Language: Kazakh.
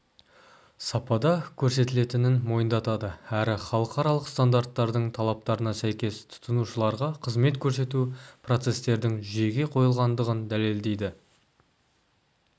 сапада көрсетілетінін мойындатады әрі халықаралық стандарттардың талаптарына сәйкес тұтынушыларға қызмет көрсету процестердің жүйеге қойылғандығын дәлелдейді